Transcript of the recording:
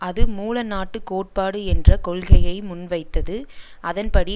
அது மூல நாட்டு கோட்பாடு என்ற கொள்கையை முன்வைத்தது அதன்படி